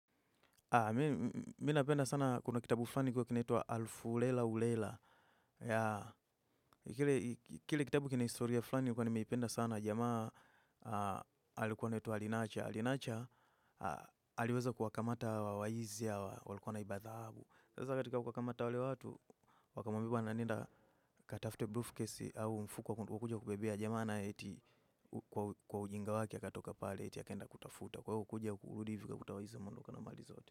Mi napenda sana kuna kitabu fulani kilikuwa kinaitwa Alfu Lela Ulela. Kile kitabu kina historia fulani nilikuwa nimeipenda sana jamaa alikuwa anaitwa Alinacha. Alinacha aliweza kuwakamata waizi hawa walikuwa wanaiba dhahabu. Sasa katika kuwakamata wale watu wakamwambia nenda katafte brufkesi au mfuko wa kuja kubebea jamaa na eti kwa ujinga wake akatoka pale eti akaenda kutafuta. Kwa ukuja ukuludi vika kutawahiza mundu kwa namali zaote.